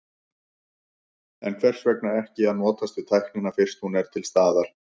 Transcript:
En hvers vegna ekki að notast við tæknina fyrst hún er til staðar?